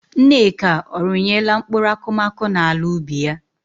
Nneka ọ rụnyela mkpụrụ akụmakụ n'ala ubi ya?